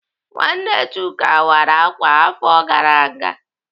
Nwanne Chuka wara ákwà afọ gara aga.